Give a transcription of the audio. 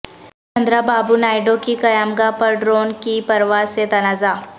چندرا بابو نائیڈو کی قیامگاہ پر ڈرون کی پرواز سے تنازعہ